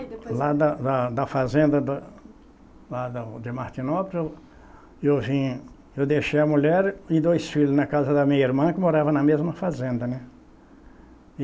Lá da da da fazenda da, lá da de Martinópolis, eu vim. Eu deixei a mulher e dois filhos na casa da minha irmã, que morava na mesma fazenda, né?